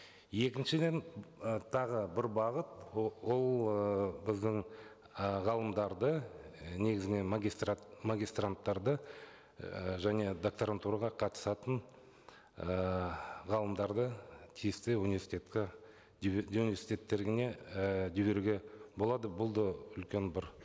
екіншіден ы тағы бір бағыт ол ыыы біздің і ғалымдарды і негізінен магистранттарды і және докторантураға қатысатын ы ғалымдарды тиісті университетке университеттеріне і жіберуге болады бұл да үлкен бір